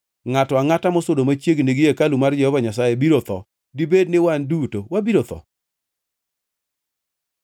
Ngʼato angʼata mosudo machiegni gi hekalu mar Jehova Nyasaye biro tho. Dibed ni wan duto wabiro tho?”